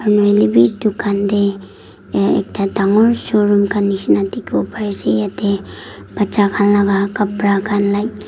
khan hoile bhi dukan teh a ekta dangor show room khan nisna dikhibo pari ase yate baccha khan laga kapra khan like--